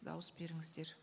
дауыс беріңіздер